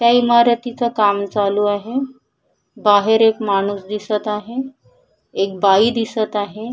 त्या इमारतीच काम चालू आहे बाहेर एक माणूस दिसत आहे एक बाई दिसत आहे.